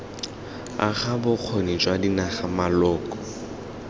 aga bokgoni jwa dinaga maloko